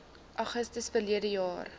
augustus verlede jaar